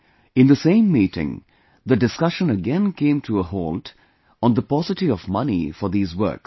In the same meeting, the discussion again came to a halt on the paucity of money for these works